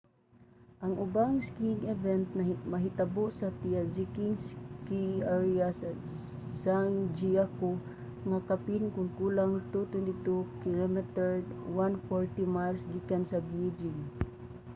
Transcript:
ang ubang skiing event mahitabo sa taizicheng ski area sa zhangjiakou nga kapin kon kulang 220 km 140 miles gikan sa beijing